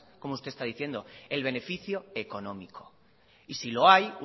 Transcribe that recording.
como usted está diciendo el beneficio económico y si lo hay